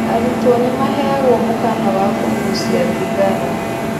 Arutwo nĩmaheagwo mũkana wa kũgucia thigara